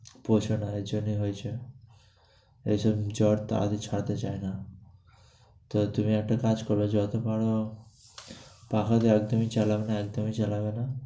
বোঝোনা এজন্যই হয়েছে। এজন্য জ্বরটা আগে ছাড়তে চায় না। তো তুমি একটা কাজ কর, যত পারো , একদমই চালাবে না, একদমই চালাবে না।